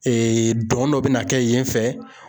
don dɔ bi na kɛ yen fɛ.